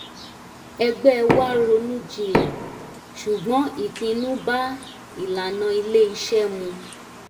ẹgbẹ́ wá ronú jinlẹ̀ ṣùgbọ́n ìpinnu bá ìlànà ilé-iṣẹ́ mu